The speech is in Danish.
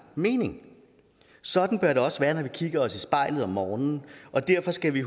mening sådan bør det også være når vi kigger os i spejlet om morgenen og derfor skal vi